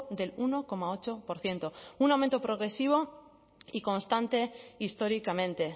del uno coma ocho por ciento un aumento progresivo y constante históricamente